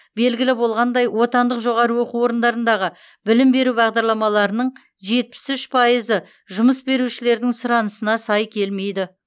белгілі болғандай отандық жоғарғы оқу орындарындағы білім беру бағдарламаларының жетпіс үш пайызы жұмыс берушілердің сұранысына сай келмейді